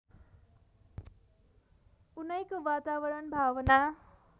उनैको वातावरण भावना